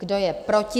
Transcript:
Kdo je proti?